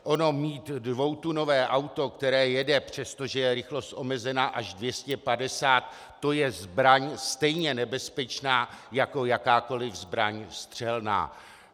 Ono mít dvoutunové auto, které jede, přestože je rychlost omezena, až 250, to je zbraň stejně nebezpečná jako jakákoli zbraň střelná.